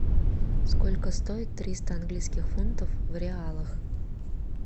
сколько стоит триста английских фунтов в реалах